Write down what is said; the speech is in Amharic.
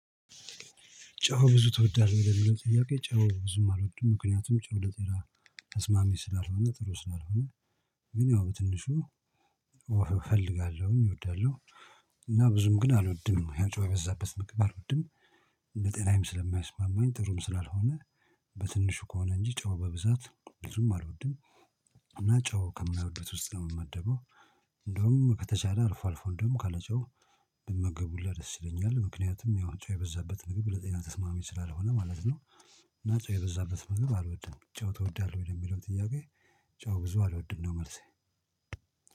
ጨው ብዙ ትወዳለህ የሚለው ጥያቄ ጨው ብዙም አልወድም ምክንያቱም ጨው ለጤና ተስማሚ ስላልሆነ ጥሩ ስላልሆነ። ግን ያው በትንሹ ወፈእፈልጋለሁኝ እወዳለሁ። እና ብዙም ግን አልወድም ያን ጨዋ የበዛበት ምግብ አልወድም። ለጤናዬም ስለማይስማማኝ ጥሩም ስላልሆነ። በትንሹ ከሆነ እንጂ ጨው በብዛት ብዙም አልወድም። እና ጨው ከማይወዱት ውስጥ ነው የምመደበው። እንደውም ከተቻለ አልፎ አልፎ እንደውም ካለጨው ብመገብ ሁላ ደስ ይለኛል። ምክንያቱም ያው ጨው የበዛበት ምግብ ለጤና ተስማሚ ስላልሆነ ማለት ነው። እና ጨው የበዛበት ምግብ አልወድም ጨው ትወዳለህ ወይ ለሚለውን ጥያቄ? ጨው ብዙ አልወድም ነው መልሴ